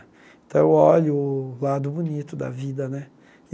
Então eu olho o lado bonito da vida, né?